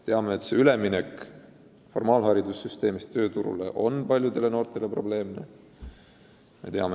Teame, et üleminek formaalharidussüsteemist tööturule on paljudele noortele raske.